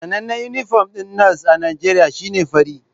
Sanannen inifom ɗin nas a Najeriya shi ne fari